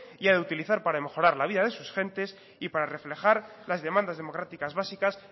y ha de utilizar para mejorar la vida de sus gentes y para reflejar las demandas democráticas básicas